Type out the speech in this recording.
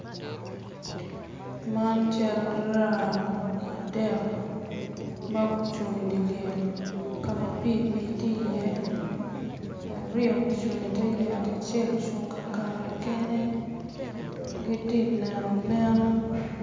Man cal raa adek ma gucung i dyer lyek ka ma pii pii tye iye aryo gucung i te yat acel ocung ka kare kene giti neno neno